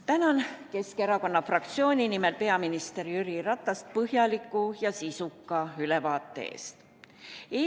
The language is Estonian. Tänan Keskerakonna fraktsiooni nimel peaminister Jüri Ratast põhjaliku ja sisuka ülevaate eest!